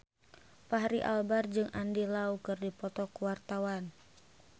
Fachri Albar jeung Andy Lau keur dipoto ku wartawan